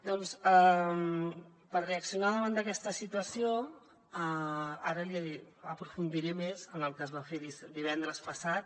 doncs per reaccionar davant d’aquesta situació ara aprofundiré més en el que es va fer divendres passat